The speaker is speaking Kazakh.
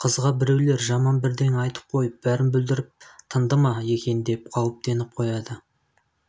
қызға біреулер жаман бірдеңе айтып қойып бәрін бүлдіріп тынды ма екен деп қауіптеніп қояды